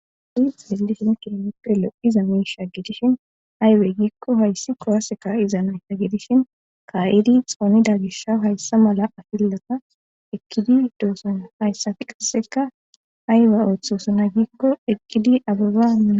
adi xelishin kiheppe lo7iza miisha gedishin aybey giikko hayssi kuwase kaiza natta gedishin ka7idi xoonida gisha hayssa mala afillata ekkididoossona hayssafi qasseka ayiba oththosona gikko eqqidi ababaaa